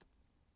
DR P4 Fælles